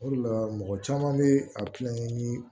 O de la mɔgɔ caman bɛ a kilankɛ ni